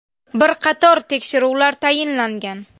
Bir qator tekshiruvlar tayinlangan.